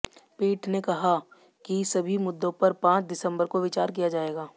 पीठ ने कहा कि सभी मुद्दों पर पांच दिसंबर को विचार किया जाएगा